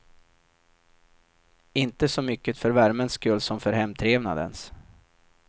Inte så mycket för värmens skull som för hemtrevnadens.